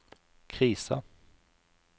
krisa